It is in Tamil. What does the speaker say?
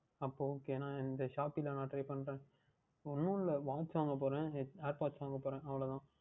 அப்பொழுது Okay நான் இதை Shopee லயே Try பண்ணுகிறேன் ஒன்றும் இல்லை Watch வாங்க போகின்றேன் Airpods வாங்க போகின்றேன் அவ்வளவு தான்